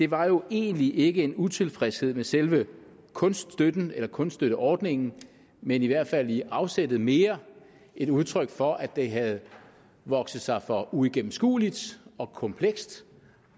var jo egentlig ikke en utilfredshed med selve kunststøtten eller kunststøtteordningen men i hvert fald i afsættet mere et udtryk for at det havde vokset sig for uigennemskueligt og komplekst